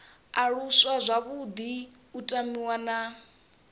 aluswa zwavhuḓi u tamiwa na